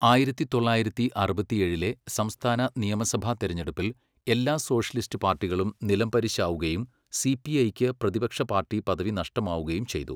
ആയിരത്തി തൊള്ളായിരത്തി അറുപത്തിയേഴിലെ സംസ്ഥാന നിയമസഭാ തെരഞ്ഞെടുപ്പിൽ എല്ലാ സോഷ്യലിസ്റ്റ് പാർട്ടികളും നിലംപരിശാവുകയും സിപിഐക്ക് പ്രതിപക്ഷ പാർട്ടി പദവി നഷ്ടമാവുകയും ചെയ്തു.